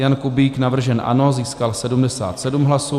Jan Kubík, navržen ANO, získal 77 hlasů.